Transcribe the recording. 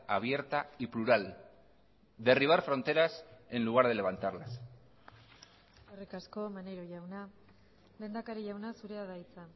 abierta y plural derribar fronteras en lugar de levantarlas eskerrik asko maneiro jauna lehendakari jauna zurea da hitza